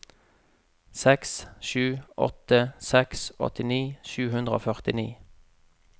seks sju åtte seks åttini sju hundre og førtini